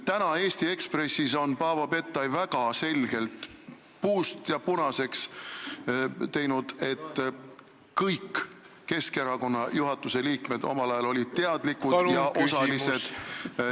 Täna on Paavo Pettai Eesti Ekspressis puust ja punaseks teinud, et kõik Keskerakonna juhatuse liikmed olid omal ajal teadlikud illegaalsest rahastamisest ja ...